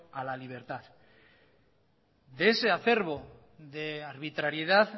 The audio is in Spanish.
a la libertad de ese acerbo de arbitrariedad